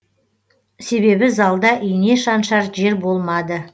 себебі залда ине шаншар жер болмады